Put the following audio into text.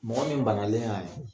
Mɔgɔ min banalen y'a